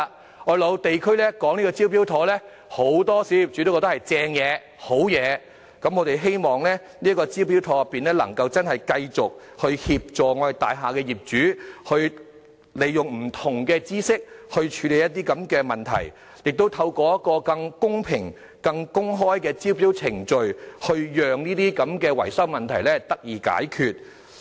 當我落區解釋"招標妥"計劃時，很多小業主都認為是好東西，我們希望"招標妥"能繼續協助大廈業主，利用不同的專業知識處理這些問題，亦透過一個更公平、更公開的招標程序，讓這些維修問題得以解決。